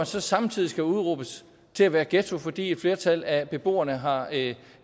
så samtidig skal udråbes til at være ghetto fordi et flertal af beboerne har